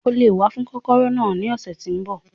O lè wá fún kọ́kọ́rọ́ náà ní ọ̀sẹ̀ tí ń bọ̀.